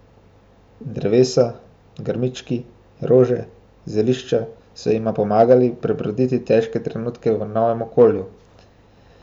Drevesa, grmički, rože, zelišča so jima pomagali prebroditi težke trenutke v novem okolju.